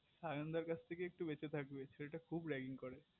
সায়ন দাদার থেকে একটু বেঁচে থাকবি ছেলেটা raging খুব করে